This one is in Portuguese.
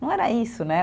Não era isso, né?